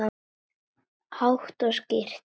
Hátt og skýrt.